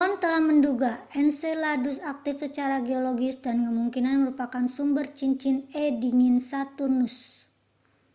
ilmuwan telah menduga enceladus aktif secara geologis dan kemungkinan merupakan sumber cincin e dingin saturnus